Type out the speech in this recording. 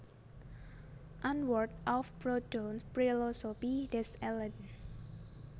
Antwort auf Proudhons Philosophie des Elends